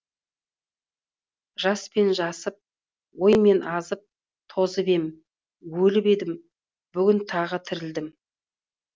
жаспен жасып оймен азып тозып ем өліп едім бүгін тағы тірілдім